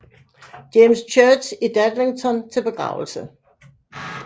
James Church i Dadlington til begravelse